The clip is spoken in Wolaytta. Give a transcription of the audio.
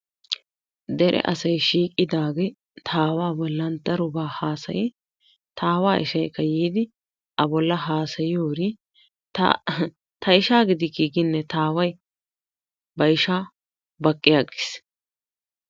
Dere asay shiiqqidage ta Aawaa bollan daroba hasayi ta Aawa ishaykka a bollan hasayiyoge ta ihi ta ishaa gidiki ginen ta Aaway ba ishaa baqqiyagiis.